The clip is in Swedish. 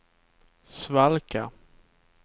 svalka